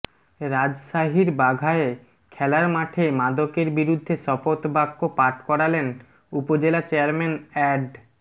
রাজশাহীর বাঘায় খেলার মাঠে মাদকের বিরুদ্ধে শপথ বাক্য পাঠ করালেন উপজেলা চেয়ারম্যান অ্যাড